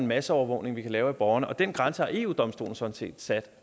masseovervågning vi kan lave af borgerne og den grænse har eu domstolen sådan set sat